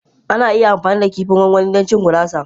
Ana iya amfani da kifin gwangwani don cin gurasa.